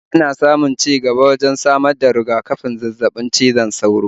Ana samun ci gaba wajen samar da riga-kafin zazzabin cizon sauro